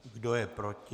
Kdo je proti?